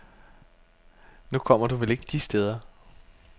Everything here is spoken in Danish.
Nu kommer du vel ikke de steder.